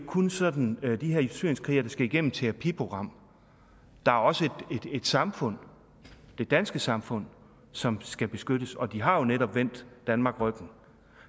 kun sådan de her syrienskrigere der skal igennem et terapiprogram der er også et samfund det danske samfund som skal beskyttes og de har jo netop vendt danmark ryggen